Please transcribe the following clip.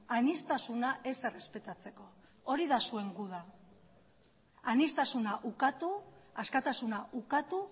aniztasuna ez errespetatzeko hori da zuen guda aniztasuna ukatu askatasuna ukatu